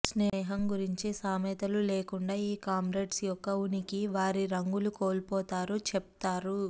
స్నేహం గురించి సామెతలు లేకుండా ఈ కామ్రేడ్స్ యొక్క ఉనికి వారి రంగులు కోల్పోతారు చెప్తారు